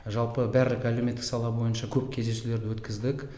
жалпы бәрлік әлеуметтік сала бойынша көп кездесулерді өткіздік